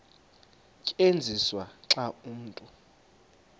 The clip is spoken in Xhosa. tyenziswa xa umntu